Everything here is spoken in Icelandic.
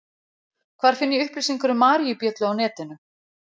Hvar finn ég upplýsingar um maríubjöllu á netinu?